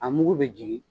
A mugu bɛ jigin